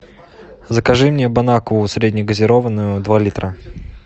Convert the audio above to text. закажи мне бонакву среднегазированную два литра